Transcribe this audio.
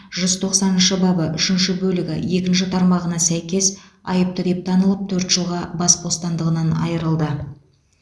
жүз тоқсаныншы бабы үшінші бөлігі екінші тармағына сәйкес айыпты деп танылып төрт жылға бас бостандығынан айырылды